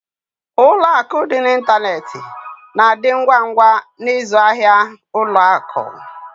Ụlọ akụ dị n'ịntanetị na-adị ngwa ngwa n'ịzụ ahịa ụlọ akụ.